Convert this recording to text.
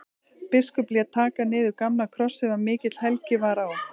Biskup lét taka niður gamlan kross sem mikil helgi var á.